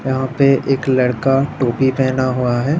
यहाँ पे एक लड़का टोपी पहना हुआ है।